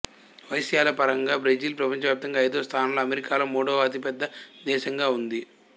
వైశాల్యపరంగా Brazil ప్రపంచవ్యాప్తంగా ఐదవ స్థానంలో అమెరికాలో మూడవ అతిపెద్ద దేశంగా ఉంది